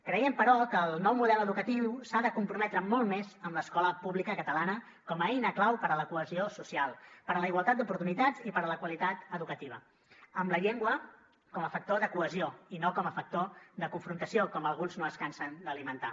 creiem però que el nou model educatiu s’ha de comprometre molt més amb l’escola pública catalana com a eina clau per a la cohesió social per a la igualtat d’oportunitats i per a la qualitat educativa amb la llengua com a factor de cohesió i no com a factor de confrontació com alguns no es cansen d’alimentar